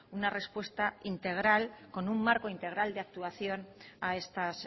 una respuesta integral con un marco integral de actuación a estas